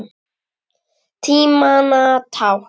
Tímanna tákn?